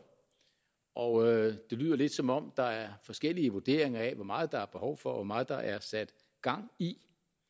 og det lyder lidt som om der er forskellige vurderinger af hvor meget der er behov for og hvor meget der er sat gang i